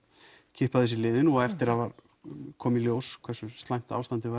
kippa þessu í liðinn og eftir að það kom í ljós hversu slæmt ástandið